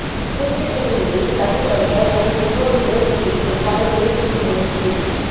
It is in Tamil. திருட்டு டிவிடியை கட்டுப்படுத்த எனக்கு இன்னொரு பேர் இருக்கு படக்குழு புது முயற்சி